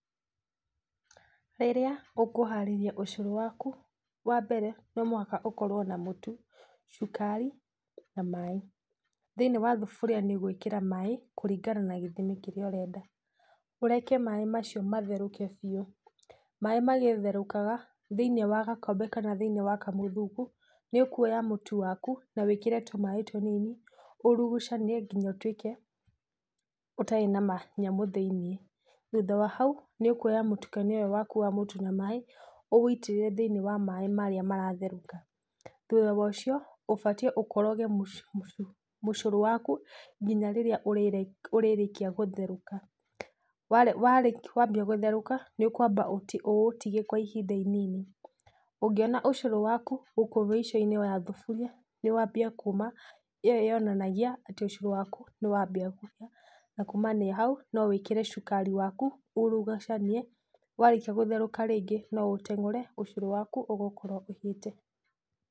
Rĩrĩa ũkũharĩria ũcũrũ waku wa mbere, nomũhaka ũkorwo na mũtu, cukari, na maĩ, thĩinĩ wa thuburia nĩũgwĩkĩra maĩ kũringana na gĩthimi kĩrĩa ũrenda, ũreke maĩ macio matherũke biũ, maĩ magĩtherũkaga, thĩ-inĩ wa gakombe ka thĩ-inĩ wa kamũthuku, nĩũkuoya mũtu waku, nawĩkĩre tũmaĩ tũnini, ũrugucanie, nginya ũtwĩke, ũtarĩ na manyamũ thĩ-inĩ, thutha wa hau, nĩũkuoya mũtulanio ũyũ waku wa mũtu na maĩ, ũwũitĩrĩrie thĩ-inĩ wa maĩ marĩa maratherũka, thutha wocio, ũbatiĩ ũkoroge mũ mũ mũcũrũ waku, nginya rĩrĩa ũrĩrĩ ũrĩrĩkia gũtherũka, warĩ warĩk wambia gũtherũka, nĩũkwamba ũti ũũtige kwa ihinda inini, ũngĩona ũcũrũ waku, gũkũ mĩico-inĩ ya thuburia, nĩwambia kuma, ĩyo yonanagia, atĩ ũcũrũ waku, nĩwambia kũhĩa, nakumania hau, nowĩkĩre cukari waku, urugucanie, warĩkia gũtherũka rĩngĩ noũteng'ũre ũcũrũ waku ũgũkorwo ũhĩte.